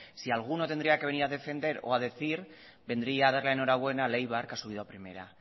si a alguno tendría que venir a defender o a decir vendría a dar la enhorabuena al eibar que ha subido a primera